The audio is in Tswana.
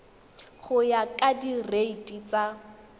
go ya ka direiti tsa